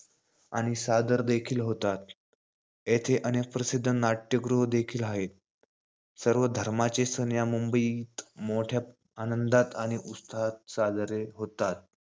आणि सादर देखील होतात. येथे अनेक प्रसिध्द नाटयागृह देखील हायेत. सर्वधर्माचे सण या मुंबईत मोठया आनंदात आणि उत्साहात साजरे होतात.